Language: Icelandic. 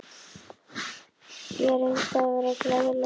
Gerður reyndi að vera glaðleg.